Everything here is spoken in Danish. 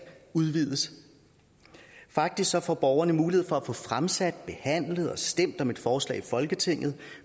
udvides faktisk får borgerne mulighed for at få fremsat behandlet og stemt om et forslag i folketinget